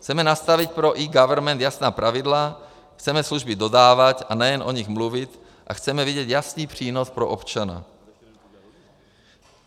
Chceme nastavit pro eGovernment jasná pravidla, chceme služby dodávat a ne jen o nich mluvit a chceme vidět jasný přínos pro občana.